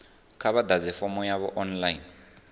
kha vha ḓadze fomo yavho online